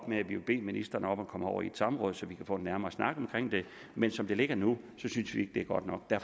med at vi vil bede ministeren om at komme over i et samråd så vi kan få en nærmere snak om det men som det ligger nu synes vi ikke det er godt nok der